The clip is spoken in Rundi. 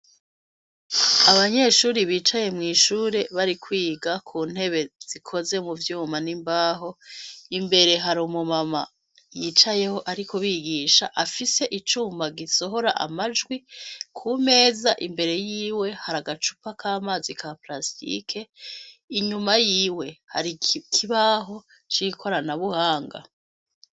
Abanyeshure bicaye mwishure bari kwiga kuntube zikoze muvyuma nimbaho imbere hari umumama yicayeho ariko arigisha afise icuma gisohora amajwi kumeza imbere yiwe hari agacupa kamazi ka plastique inyuma yiwe hari ikibaho cikorana buhanga